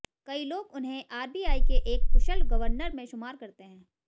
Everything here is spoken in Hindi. कई लोग उन्हें आरबीआई के एक कुशल गवर्नर में शुमार करते हैं